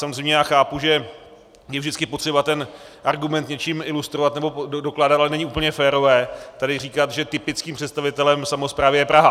Samozřejmě já chápu, že je vždycky potřeba ten argument něčím ilustrovat nebo dokládat, ale není úplně férové tady říkat, že typickým představitelem samosprávy je Praha.